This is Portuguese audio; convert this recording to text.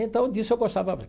Então, disso eu gostava.